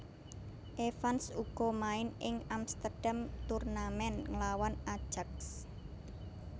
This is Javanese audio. Evans uga main ing Amsterdam Tournament nglawan Ajax